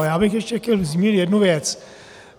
Ale já bych ještě chtěl zmínit jednu věc.